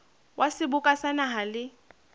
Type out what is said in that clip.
wa seboka sa naha le